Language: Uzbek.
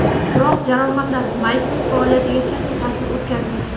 Biroq jarohatlar Maykaning faoliyatiga katta ta’sir o‘tkazdi.